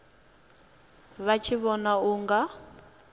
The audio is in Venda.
vha tshi vhona u nga